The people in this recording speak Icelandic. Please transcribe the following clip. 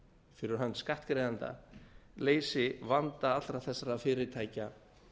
fyrir hönd skattgreiðenda leysi vanda allra þessara fyrirtækja